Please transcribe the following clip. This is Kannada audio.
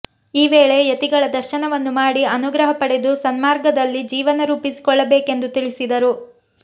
ಈ ವೇಳೆ ಯತಿಗಳ ದರ್ಶನವನ್ನು ಮಾಡಿ ಅನುಗ್ರಹ ಪಡೆದು ಸನ್ಮಾರ್ಗದಲ್ಲಿ ಜೀವನ ರೂಪಿಸಿಕೊಳ್ಳಬೇಕೆಂದು ತಿಳಿಸಿದರು